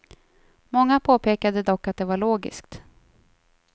Många påpekade dock att det var logiskt.